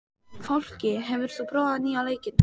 Fálki, hefur þú prófað nýja leikinn?